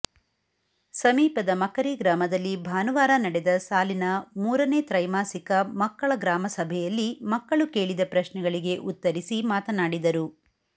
ಸಮೀಪದ ಮಕರಿ ಗ್ರಾಮದಲ್ಲಿ ಭಾನುವಾರ ನಡೆದ ಸಾಲಿನ ಮೂರನೇ ತ್ರೈಮಾಸಿಕ ಮಕ್ಕಳ ಗ್ರಾಮಸಭೆಯಲ್ಲಿ ಮಕ್ಕಳು ಕೇಳಿದ ಪ್ರಶ್ನೆಗಳಿಗೆ ಉತ್ತರಿಸಿ ಮಾತನಾಡಿದರು